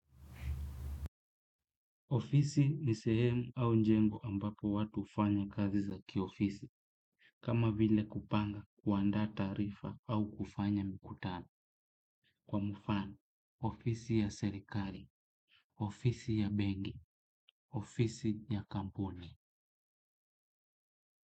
Ofisi nisehemu au njengo ambapo watu hufanya kazi za kiofisi. Kama vile kupanga kuanda taarifa au kufanya mikutano. Kwa mfano, ofisi ya serikali, ofisi ya bengi, ofisi ya kampuni.